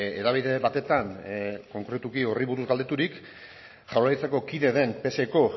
hedabide batetan konkretuki horri buruz galdeturik jaurlaritzako kide den pseko